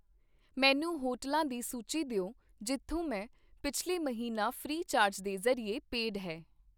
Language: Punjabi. ਮੈਨੂੰ ਹੋਟਲਾਂ ਦੀ ਸੂਚੀ ਦਿਓ ਜਿੱਥੋਂ ਮੈਂ ਪਿੱਛਲੇ ਮਹੀਨਾ ਫ੍ਰੀ ਚਾਰਜ ਦੇ ਜ਼ਰੀਏ ਪੇਡ ਹੈ।